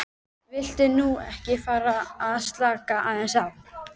Viltu nú ekki fara að slaka aðeins á!